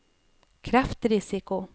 kreftrisiko